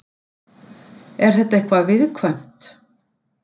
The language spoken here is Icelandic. Er þetta eitthvað viðkvæmt?